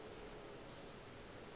o ile a thoma go